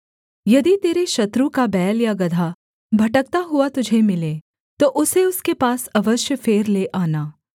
यदि तेरे शत्रु का बैल या गदहा भटकता हुआ तुझे मिले तो उसे उसके पास अवश्य फेर ले आना